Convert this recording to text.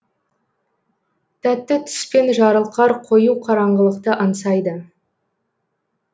тәтті түспен жарылқар қою қараңғылықты аңсайды